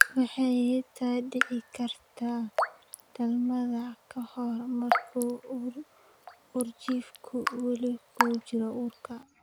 Waxay xitaa dhici kartaa dhalmada ka hor, marka uurjiifku weli ku jiro uurka.